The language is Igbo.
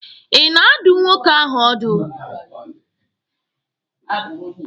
Ị na-adụ nwoke ahụ ọdụ?